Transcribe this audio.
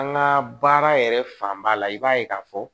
An ka baara yɛrɛ fanba la i b'a ye k'a fɔ